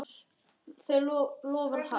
Það loforð halt.